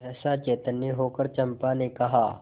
सहसा चैतन्य होकर चंपा ने कहा